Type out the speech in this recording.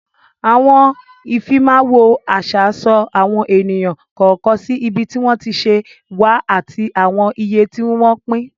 Àwọn Ìfimáwo àṣà so àwọn ènìyàn kọ̀ọ̀kan sí ibi tí wọ́n ti ṣẹ̀ wá ati àwọn ìyè tí wọ́n pín